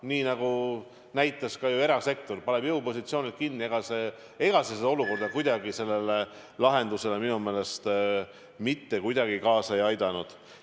Nii nagu näitas ka erasektor: pani jõupositsioonilt kinni, aga ega see kuidagi lahendusele minu meelest kaasa ei aidanud.